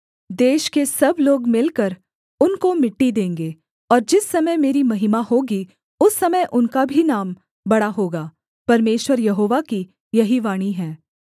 देश के सब लोग मिलकर उनको मिट्टी देंगे और जिस समय मेरी महिमा होगी उस समय उनका भी नाम बड़ा होगा परमेश्वर यहोवा की यही वाणी है